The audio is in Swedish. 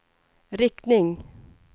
riktning